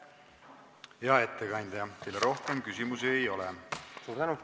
Hea ettekandja, teile rohkem küsimusi ei ole!